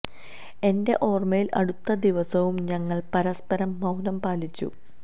എന്റെ ഓര്മ്മയില് അടുത്ത ദിവസവും ഞങ്ങള് പരസ്പരം മൌനം പാലിച്ചു